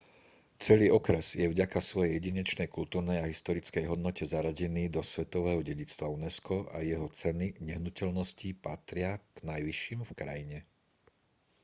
celý okres je vďaka svojej jedinečnej kultúrnej a historickej hodnote zaradený do svetového dedičstva unesco a jeho ceny nehnuteľností patria k najvyšším v krajine